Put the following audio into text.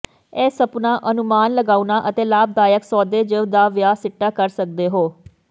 ਇਹ ਸੁਪਨਾ ਅਨੁਮਾਨ ਲਗਾਉਣਾ ਅਤੇ ਲਾਭਦਾਇਕ ਸੌਦੇ ਜ ਦਾ ਵਿਆਹ ਸਿੱਟਾ ਕਰ ਸਕਦੇ ਹੋ